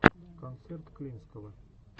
концерт клинского